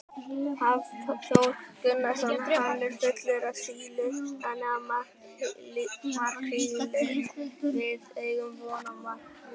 Hafþór Gunnarsson: Hann er fullur af síli þannig að makríllinn, við eigum von á makríl?